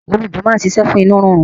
Òrom̀bó máa ń ṣiṣẹ́ fún inú rírun.